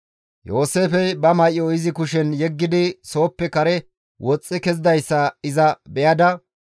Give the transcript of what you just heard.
Yooseefey ba may7o izi kushen yeggidi sooppe kare woxxi kezidayssa iza be7ada,